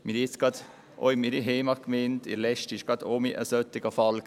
Auch in meiner Heimatgemeinde gab es letzthin einen solchen Fall: